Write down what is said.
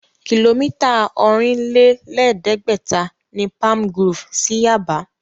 Kìlómítà ọ̀rìn-lé-lẹ̀ẹ́dẹ́gbẹ̀ta ni Palmgrove sí Yaba